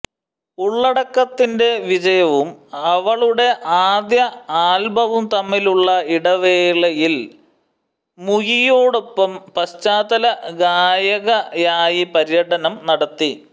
ഉള്ളടക്കത്തിന്റെ വിജയവും അവളുടെ ആദ്യ ആൽബവും തമ്മിലുള്ള ഇടവേളയിൽ മുയിയോടൊപ്പം പശ്ചാത്തല ഗായകയായി പര്യടനം നടത്തി